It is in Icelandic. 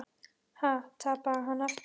Ha, tapaði hann aftur?